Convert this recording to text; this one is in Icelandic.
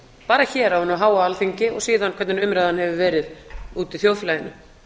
bara hér á hinu háa alþingi og síðan hvernig umræðan hefur verið úti í þjóðfélaginu